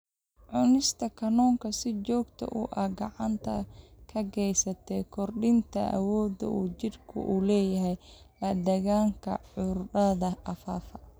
Cunista kalluunka si joogto ah waxay gacan ka geysataa kordhinta awoodda uu jidhku u leeyahay la-dagaallanka cudurrada faafa.